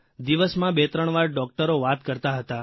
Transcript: દિવસમાં બેત્રણવાર ડૉકટર વાત કરતા હતા